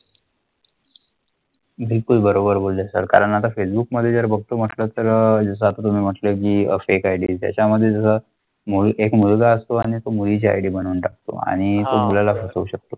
बिलकुल बरोबर बोला सर कारण फेसबुकमध्ये भागथो अह फेक आयडी त्याच्यामध्ये जर मूळ असतो आणि तो मुळी ID बनवून टाकतो आणि आम्हाला करू शकता.